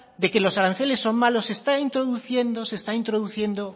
de que los aranceles son malos se está introduciendo